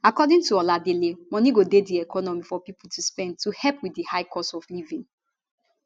according to oladele moni go dey di economy for pipo to spend to help wit di high cost of living